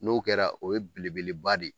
N'o kɛra, o ye belebeleba de ye.